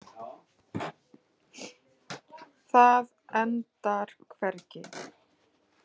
Það endar hvergi.